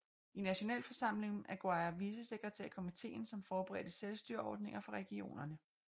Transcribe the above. I nationalforsamlingen blev Aguirre vicesekretær i komitéen som forberedte selvstyreordninger for regionerne